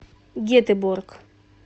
гетеборг